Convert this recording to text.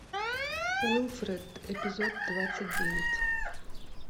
уилфред эпизод двадцать девять